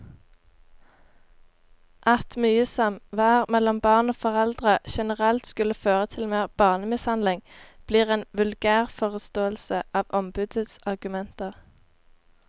At mye samvær mellom barn og foreldre generelt skulle føre til mer barnemishandling, blir en vulgærforståelse av ombudets argumenter.